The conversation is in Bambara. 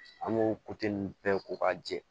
An b'o ninnu bɛɛ ko k'a jɛ